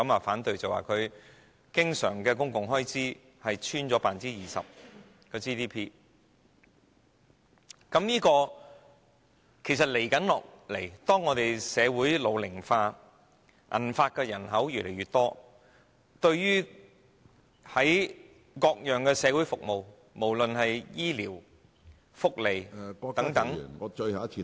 香港的經常公共財政開支已跌穿 GDP 的 20%， 如果這傾向持續，隨着香港社會日益老齡化，銀髮人口越來越多，對各種社會服務，無論是醫療、福利等......